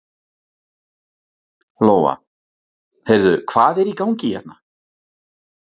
Lóa: Heyrðu, hvað er í gangi hérna?